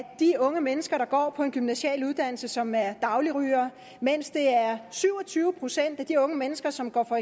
de unge mennesker der går på en gymnasial uddannelse som er dagligrygere mens det er syv og tyve procent af de unge mennesker som går på